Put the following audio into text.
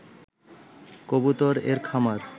কবুতর এর খামার